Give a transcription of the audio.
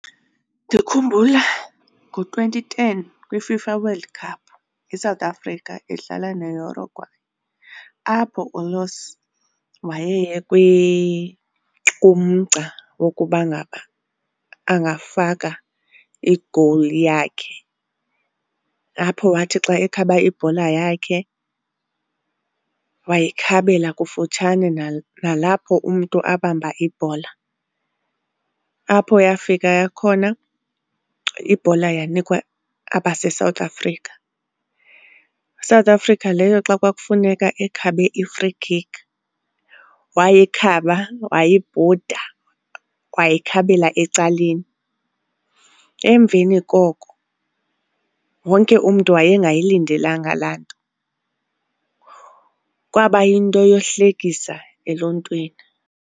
Ndikhumbula ngo-twenty ten kwiFIFA World Cup, iSouth Africa idlala neUruguay. Apho wayeye kumgca wokuba ngaba angafaka igowuli yakhe, apho wathi xa ekhaba ibhola yakhe wayikhabela kufutshane nalapho umntu abamba ibhola, apho yafika khona ibhola yanikwa abaseSouth Africa. South Africa leyo xa kwakufuneka ekhabe i-free kick wayikhaba wayibhuda, wayikhabela ecaleni. Emveni koko wonke umntu wayengayilindelanga laa nto, kwaba yinto yohlekisa eluntwini.